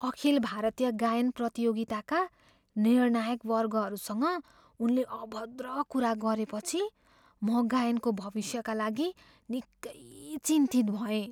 अखिल भारतीय गायन प्रतियोगिताका निर्णायकवर्गहरूसँग उनले अभद्र कुरा गरेपछि म गायकको भविष्यका लागि निकै चिन्तित भएँ।